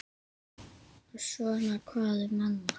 Og svona hvað um annað